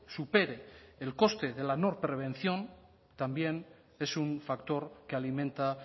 supere el coste de la no prevención también es un factor que alimenta